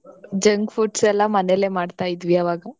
Junk foods ಎಲ್ಲ ಮನೇಲೆ ಮಾಡ್ತಾ ಇದ್ವಿ ಅವಾಗ.